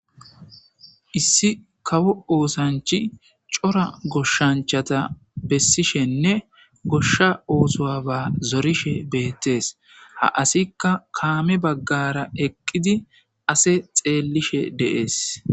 issi kawo oosanchi cora goshshanchata bessishenne goshsha oosoaba zorishe beettees ha asikka kaame baggara eqqidi ase xeellishe deees